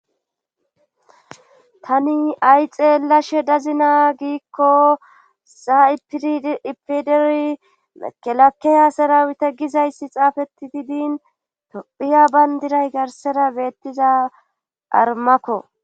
Tani ay xeelashe dazina giikko sa7iipideri mekelake hasarawita gizayssi xaafeti didin tophiya bayndiray garsera beettiza armakko.